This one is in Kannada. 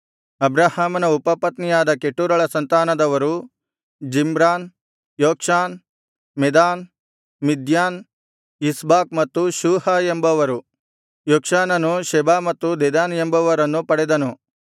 ಅಬ್ರಹಾಮನ ಉಪಪತ್ನಿಯಾದ ಕೆಟೂರಳ ಸಂತಾನದವರು Zimran Jokshan Medan Midian Ishbak ಮತ್ತು ಶೂಹ ಎಂಬವರು ಯೊಕ್ಷಾನನು ಶೆಬಾ ಮತ್ತು ದೆದಾನ್ ಎಂಬವರನ್ನು ಪಡೆದನು